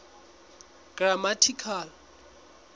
grammatical